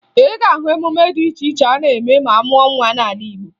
Ị ga-ahụ emume dị iche iche a na-eme ma amụọ nwa n'ala Igbo